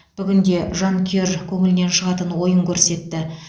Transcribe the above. бүгінде жанкүйер көңілінен шығатын ойын көрсетті